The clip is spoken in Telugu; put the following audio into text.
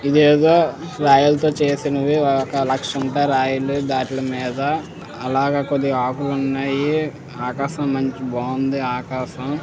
ఇదేదో రాయలతో చేసినవి ఒక లక్ష ఉంటాయి రాయిలు ఆటిలమీద ఆలాగ కొద్దిగా ఆకులు ఉన్నాయి ఆకాశం మంచి బాగుంది ఆకాశం --